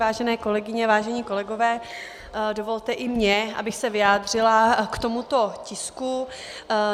Vážené kolegyně, vážení kolegové, dovolte i mně, abych se vyjádřila k tomuto tisku.